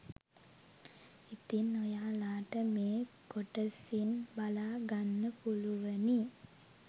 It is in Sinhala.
ඉතින් ඔයාලට මේ කොටසින් බලා ගන්න පුළුවනි